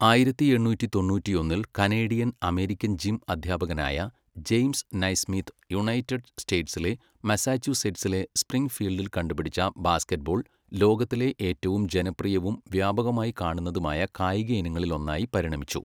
ആയിരത്തി എണ്ണൂറ്റി തൊണ്ണൂറ്റിയൊന്നിൽ കനേഡിയൻ അമേരിക്കൻ ജിം അധ്യാപകനായ ജെയിംസ് നൈസ്മിത്ത് യുണൈറ്റഡ് സ്റ്റേറ്റ്സിലെ മസാച്യുസെറ്റ്സിലെ സ്പ്രിംഗ്ഫീൽഡിൽ കണ്ടുപിടിച്ച ബാസ്കറ്റ്ബോൾ ലോകത്തിലെ ഏറ്റവും ജനപ്രിയവും വ്യാപകമായി കാണുന്നതുമായ കായിക ഇനങ്ങളിൽ ഒന്നായി പരിണമിച്ചു.